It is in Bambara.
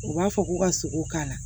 U b'a fɔ k'u ka sogo k'a la